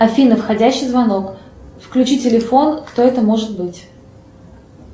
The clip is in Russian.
афина входящий звонок включи телефон кто это может быть